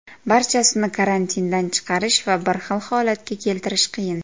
Barchasini karantindan chiqarish va bir xil holatga keltirish qiyin.